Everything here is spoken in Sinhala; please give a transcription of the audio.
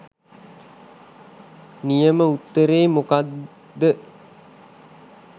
නියම උත්තරේ මොකක්ද?